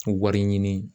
Wari ɲini